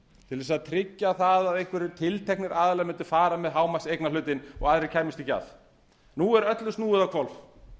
til að tryggja það að einhverjir tilteknir aðilar mundu fara með hámarkseignarhlutinn og aðrir kæmust ekki að nú er öllu snúið á hvolf